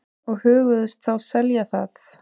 Og hugðust þá selja það.